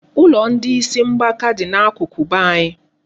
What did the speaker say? Ụlọ ndị isi mgbaka dị n'akụkụ be anyị.